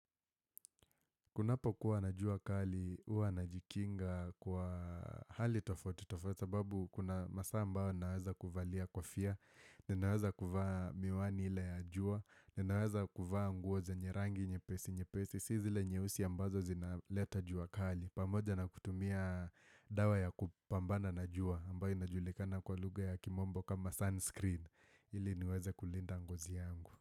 Kunapokuwa na jua kali, huwa najikinga kwa hali tofauti tofauti sababu kuna masaa ambao naweza kuvalia kofia, ninaweza kuvaa miwani ile ya jua, ninaweza kuvaa nguo zenye rangi, nyepesi, nyepesi, si zile nyeusi ambazo zinaleta jua kali. Pamoja na kutumia dawa ya kupambana na jua, ambayo inajulikana kwa lugha ya kimombo kama sunscreen, ili niweze kulinda ngozi yangu.